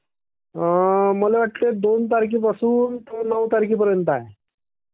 मला वाटते दोन तारखेपासून नऊ तारखेपर्यंत आहे..